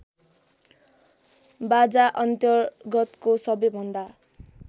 बाजाअन्तर्गतको सबैभन्दा